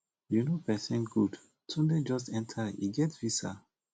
you know pesin good tunde just enter he get visa